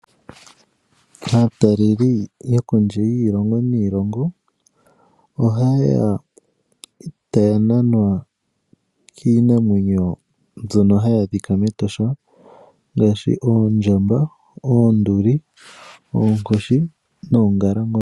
Aataleli yo kondje yiilongo niilongo oha ye ya taya nanwa kiinamwenyo mbyono hayi adhika mEtosha, ngaashi oondjamba, oonduli, oonkoshi noongalangombe.